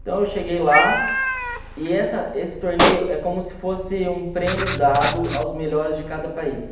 Então eu cheguei lá e essa esse torneio é como se fosse um prêmio dado aos melhores de cada país.